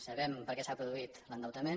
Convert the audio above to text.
sabem per què s’ha produït l’endeutament